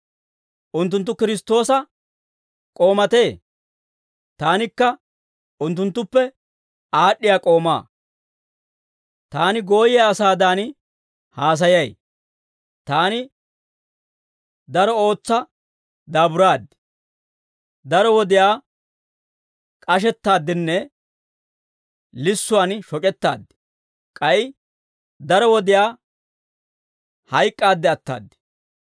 Unttunttu Kiristtoosa k'oomatee? Taanikka unttunttuppe aad'd'iyaa k'oomaa; taani gooyiyaa asaadan haasayay; taani daro ootsa daaburaad; daro wodiyaa k'ashettaaddinne lissuwaan shoc'ettaad; k'ay daro wodiyaa hayk'k'aadde ataad.